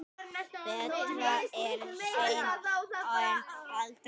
Betra er seint en aldrei!